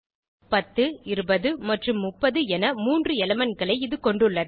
10 20 மற்றும் 30 என 3 elementகளை இது கொண்டுள்ளது